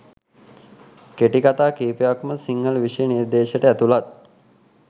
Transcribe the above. කෙටිකතා කිහිපයක්ම සිංහල විෂය නිර්දේශයට ඇතුලත්.